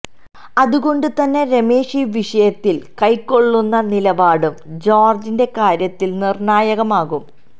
അതുകൊണ്ട് തന്നെ രമേശ് ഈ വിഷയത്തിൽ കൈക്കൊള്ളുന്ന നിലപാടും ജോർജ്ജിന്റെ കാര്യത്തിൽ നിർണ്ണായകമാകും